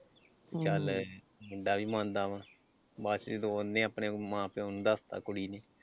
ਚੱਲ ਮੁੰਡਾ ਵੀ ਮੰਨਦਾ ਵਾ ਬਾਅਦ ਚ ਜਦੋਂ ਉਹਨੇ ਆਪਣੇ ਮਾਂ ਪਿਓ ਨੂੰ ਦੱਸਤਾ ਕੁੜੀ ਨੇ।